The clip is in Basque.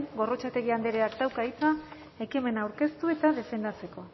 gorrotxategi andreak dauka hitza ekimena aurkeztu eta defendatzeko